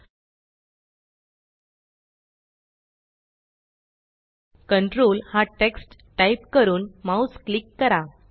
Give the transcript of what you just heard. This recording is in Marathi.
कंट्रोल कंट्रोल हा टेक्स्ट टाइप करून माउस क्लिक करा